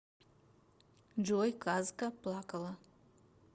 джой казка плакала